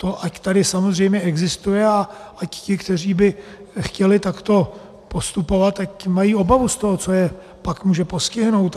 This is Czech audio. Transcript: To ať tady samozřejmě existuje a ať ti, kteří by chtěli takto postupovat, ať mají obavu z toho, co je pak může postihnout.